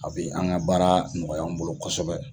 A be an ga baara nɔgɔya an bolo kosɛbɛ